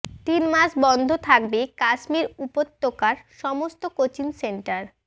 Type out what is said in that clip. তিন মাস বন্ধ থাকবে কাশ্মীর উপত্যকার সমস্ত কোচিং সেন্টার